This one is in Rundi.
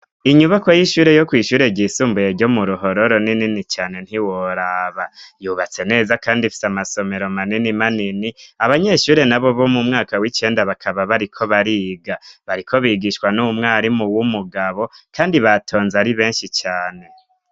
Inyubako y'ishure yo kwishure ryisumbuye ryo mu ruhororo n'inini cane ntiworaba yubatse neza, kandi fise amasomero manini manini abanyeshure na bo bo mu mwaka w'icenda bakaba bariko bariga bariko bigishwa n'umwarimu w'umugabo, kandi batonze ari benshi cane.